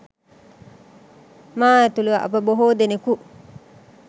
මා ඇතුළු අප බොහෝ දෙනකු